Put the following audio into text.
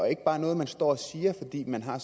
ikke bare er noget man står og siger fordi man har